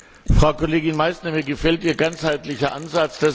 Frau Kollegin Meissner, mir gefällt Ihr ganzheitlicher Ansatz.